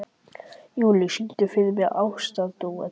Júlíus, syngdu fyrir mig „Ástardúett“.